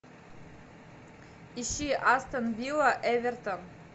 ищи астон вилла эвертон